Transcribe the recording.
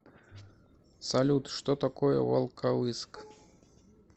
салют что такое волковыск